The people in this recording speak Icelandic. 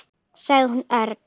sagði hún örg.